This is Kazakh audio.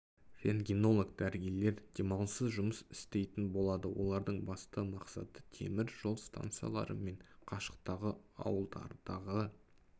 рентгенолог дәрігерлер демалыссыз жұмыс істейтін болады олардың басты мақсаты темір жол станциялары мен қашықтағы ауылдардағы